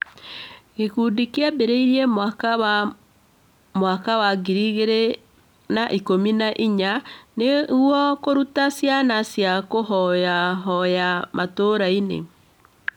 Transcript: Gĩkundi kĩu kĩambĩrĩirie mwaka wa Mwaka wa ngiri igĩrĩ na ikũmi na inya nĩguo kũruta ciana cia kũhoyahoya mataũni-inĩ